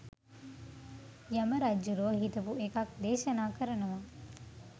යම රජ්ජුරුවො හිතපු එකක් දේශනා කරනවා